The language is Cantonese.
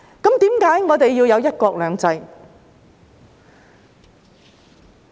為何我們要有"一國兩制"？